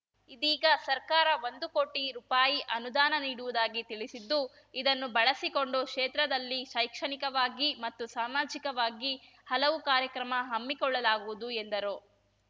ಇದೀಗ ಸರ್ಕಾರ ಒಂದು ಕೋಟಿ ರೂಪಾಯಿ ಅನುದಾನ ನೀಡುವುದಾಗಿ ತಿಳಿಸಿದ್ದು ಇದನ್ನು ಬಳಸಿಕೊಂಡು ಕ್ಷೇತ್ರದಲ್ಲಿ ಶೈಕ್ಷಣಿಕವಾಗಿ ಮತ್ತು ಸಾಮಾಜಿಕವಾಗಿ ಹಲವು ಕಾರ್ಯಕ್ರಮ ಹಮ್ಮಿಕೊಳ್ಳಲಾಗುವುದು ಎಂದರು